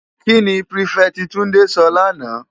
Ki ni pirifèti Tunde sò làná?